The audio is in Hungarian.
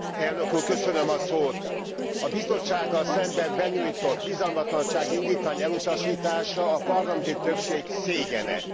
Elnök Úr, köszönöm a szót! A Bizottsággal szemben benyújtott bizalmatlansági indítvány elutasítása a parlamenti többség szégyene.